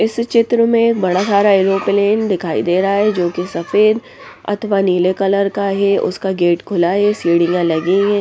इस चित्र में बड़ा सारा एलोप्लेन दिखाई दे रहा हैं जो कि सफेद अथवा नीले कलर का है उसका गेट खुला हैं सीढ़ियां लगी हैं ।